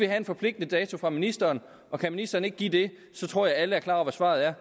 have en forpligtende dato fra ministeren og kan ministeren ikke give det tror jeg alle er klar over hvad svaret er